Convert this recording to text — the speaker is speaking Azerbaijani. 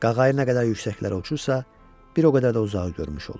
Qağayı nə qədər yüksəklərə uçursa, bir o qədər də uzağı görmüş olur.